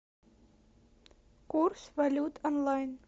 курс валют онлайн